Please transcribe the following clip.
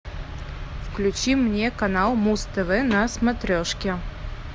включи мне канал муз тв на смотрешке